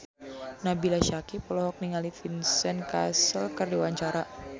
Nabila Syakieb olohok ningali Vincent Cassel keur diwawancara